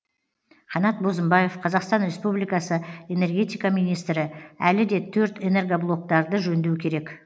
қанат бозымбаев қазақстан республикасы энергетика министрі әлі де төрт энергоблоктарды жөндеу керек